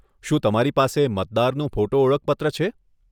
શું તમારી પાસે મતદારનું ફોટો ઓળખપત્ર છે?